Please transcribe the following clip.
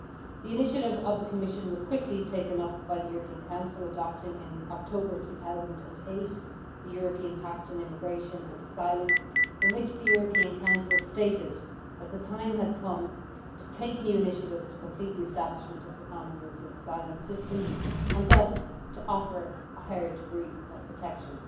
The initiative of the Commission was quickly taken up by the European Council, adopting in October 2008 the European Pact on Immigration and Asylum in which the European Council stated that the time had come to take new initiatives to complete the establishment of the common European asylum system and thus to offer a higher degree of protection.